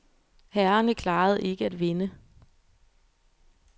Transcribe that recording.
Herrerne klarede ikke at vinde.